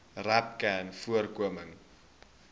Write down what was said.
rapcanvoorkoming